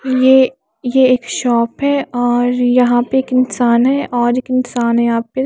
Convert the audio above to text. ये ये एक शॉप है और यहाँ पे एक इंसान है और एक इंसान है यहाँ पे --